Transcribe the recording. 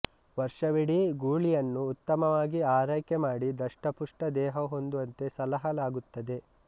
ವರ್ಷವಿಡೀ ಗೂಳಿಯನ್ನು ಉತ್ತಮವಾಗಿ ಆರೈಕೆ ಮಾಡಿ ದಷ್ಟ ಪುಷ್ಟ ದೇಹ ಹೊಂದುವಂತೆ ಸಲಹಲಾಗುತ್ತದೆ